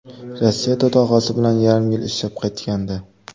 Rossiyada tog‘asi bilan yarim yil ishlab qaytgandi.